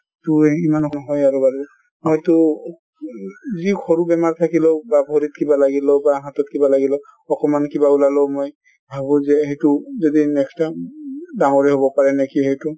তো ইমান বাৰু মইতো উহ যি সৰু বেমাৰ থাকিলেও বা ভৰিত কিবা লাগিলেও বা হাতত কিবা লাগিলেও অকমান কিবা ওলালেও মই ভাবো যে সেইটো যদি next time উ ডাঙৰে হʼব পাৰে নেকি সেইটো